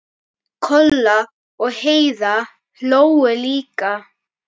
Kolla og Heiða hlógu líka.